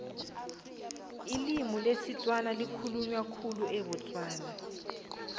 ilimi lesitswana likhulunywa khulu ebutswana